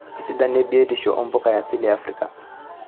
Esidano e biotisho oo mpuka e asili e Afrika .